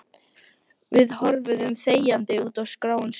Við horfum þegjandi út á gráan sjó.